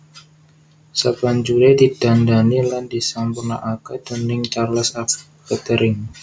Sabanjuré didandani lan disampurnakaké déning Charles F Kettering